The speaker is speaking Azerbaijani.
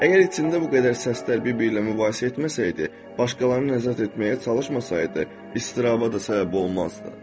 Əgər içində bu qədər səslər bir-biri ilə mübahisə etməsəydi, başqalarını nəzarət etməyə çalışmasaydı, istiraba da səbəb olmazdı.